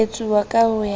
etsuwa ka ho ya ka